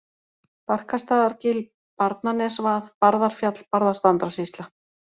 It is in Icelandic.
Barkastaðargil, Barnanesvað, Barðarfjall, Barðastrandarsýsla